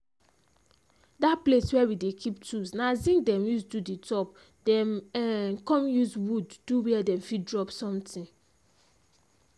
that place where we dey keep tools an zinc them use do the top them um come use wood do where dem fit drop something.